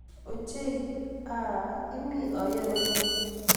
Ochei, Ah! Imi ayoe nee?